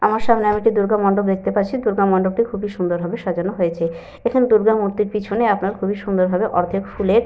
আমার সামনে আমি একটা দূর্গা মন্ডপ দেখতে পাচ্ছি। দূর্গা মন্ডপটি খুবই সুন্দর ভাবে সাজানো হয়েছে। এখানে দূর্গা মূর্তির পিছনে আপনার খুবই সুন্দর ভাবে আপনার অর্ধেক ফুলের।